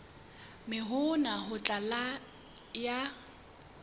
mme hona ho tla ya